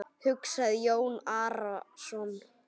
hugsaði Jón Arason.